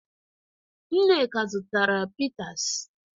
Nneka zụtara pịtas.